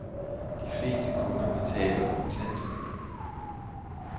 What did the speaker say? De fleste kunder betaler kontant.